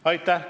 Aitäh!